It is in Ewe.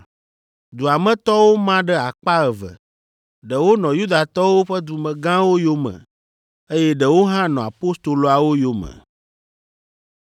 Dua me tɔwo ma ɖe akpa eve, ɖewo nɔ Yudatɔwo ƒe dumegãwo yome eye ɖewo hã nɔ apostoloawo yome.